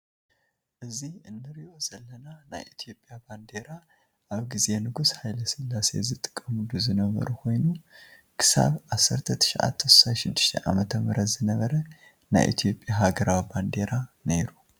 እዚ እንሪኦ ዘለና ናይ ኢትዮጵያ ባንዴራ አብ ግዜ ንጉስ ሃይለሰላሴ ዝጥቀምሉ ዝነበሩ ኮይኑ ክስብ 1966 ዓ.ም ዝነበረ ናይ ኢትዮጵያ ሃገራዊ ባንዴራ ነይሩ።